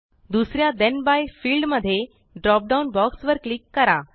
दुसऱ्या ठेण by field मध्ये ड्रॉप डाउन बॉक्स वर क्लिक करा